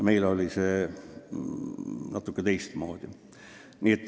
Meil oli natuke teistmoodi.